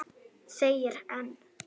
Þegir enn.